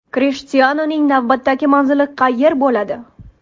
Krishtianuning navbatdagi manzili qayer bo‘ladi?